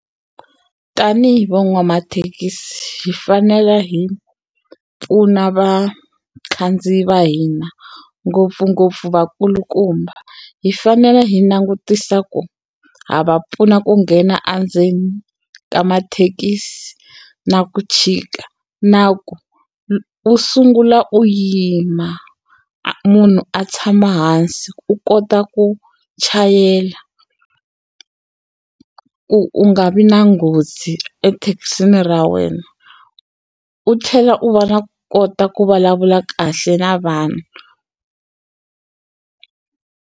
Tanihi van'wamathekisi hi fanele hi pfuna vakhandziyi va hina ngopfungopfu vakulukumba hi fanele hi langutisa ku ha va pfuna ku nghena endzeni ka mathekisi na ku chika na ku u sungula u yima munhu a tshama hansi u kota ku chayela ku u nga vi na nghozi ethekisini ra wena u tlhela u va na kota ku vulavula kahle na vanhu.